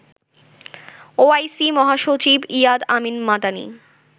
OIC মহাসচিব Iyad Amin Madani